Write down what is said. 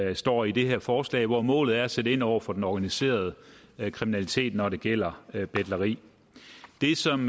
der står i det her forslag hvor målet er at sætte ind over for den organiserede kriminalitet når det gælder betleri det som